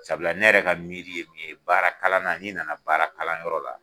Sabula ne yɛrɛ ka miiri ye min ye , baara kalan na ni nana baara kala yɔrɔ la